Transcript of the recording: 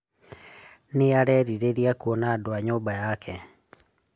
Nĩ arerirĩria kuona andũ a nyũmba yake.